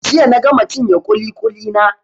Jiya na gama cinye ƙuli-ƙuli na.